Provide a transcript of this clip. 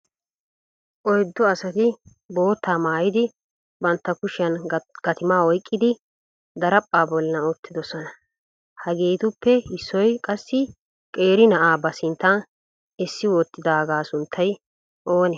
Oyddu asati bootta maayid bantta kushiyan gattuma oyqqidi daraphpha bollan uttidoosona. Hagetuppe issoy qassi qeeri na'aa ba sinttan essi wottidaaga sunttay oonee?